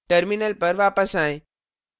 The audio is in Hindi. terminal पर वापस आएं